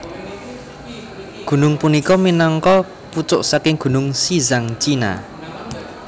Gunung punika minangka pucuk saking gunung Xizang China